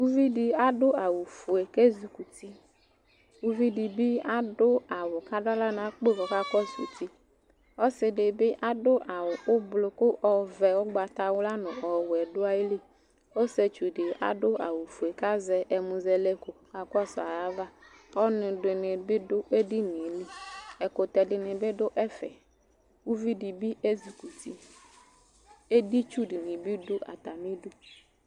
Uvidɩ adʋ zwʋfue k'ezikuti uvidɩ bɩ adʋ awʋ k'adʋaɣla n'akpo k'ɔka kɔsʋ uti , ɔsɩdɩ bɩ adʋ awʋ ʋblʋ kʋ ɔvɛ ʋgbatawla nʋ ɔwɛ dʋ ayili Ɔsɩetsudɩ adʋ awʋfue kazɛ ɛnʋzɛlɛko kakɔsʋ ayava Ɔnʋdɩnɩ bɩ dʋ edinie Ɛkʋtɛdɩnɩ bɩ dʋ ɛfɛ , uvidɩ bɩ ezikuti Editsudɩnɩ bɩ dʋ atamidu